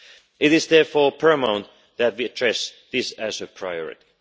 It is therefore paramount that we address this as a priority.